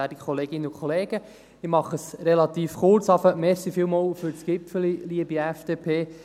Schon mal vielen Dank für die Gipfeli, liebe FDP.